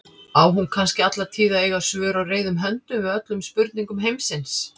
Á hún kannski alla tíð að eiga svör á reiðum höndum við öllum spurningum heimsins?